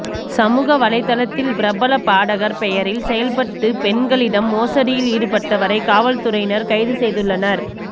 சமூக வலைதளத்தில் பிரபல பாடகர் பெயரில் செயல்பட்டு பெண்களிடம் மோசடியில் ஈடுபட்டவரை காவல்துறையினர் கைது செய்துள்ளனர்